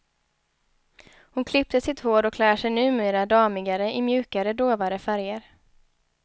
Hon klippte sitt hår och klär sig numera damigare i mjukare, dovare färger.